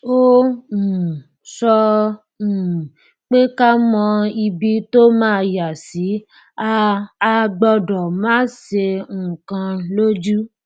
ó um sọ um pé ká mọ ibi tó máa yá sí a a gbọdọ máa ṣe nǹkan lójú